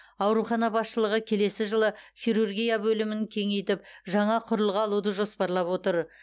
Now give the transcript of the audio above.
аурухана басшылығы келесі жылы хирургия бөлімін кеңейтіп жаңа құрылғы алуды жоспарлап отыр